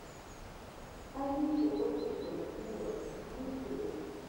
авичи офишел виво в ютубе